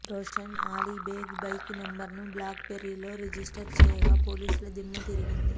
Roshan Ali Baig bike number ను black బెర్రీలో register చెయ్యగా పోలీసుల దిమ్మతిరిగింది